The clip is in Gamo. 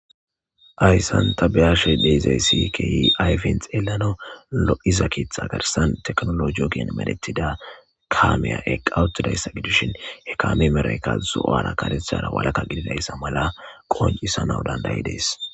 Hayisan ta be ashe dizayisi kehi ayifen xelanawunne lo'iza ketha garsan tekinologe ogen medhetida kamiya eqawutidayisa qonc'siyasa gidishin he kamiya merayika zo'ora karethara walaka gidiza mala qonc'isanawu dandayides